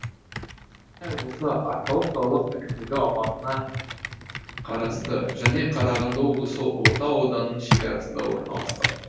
қостанай облысы арқалық қалалық әкімдігі аумағына қарасты және қарағанды облысы ұлытау ауданының шекарасында орналасқан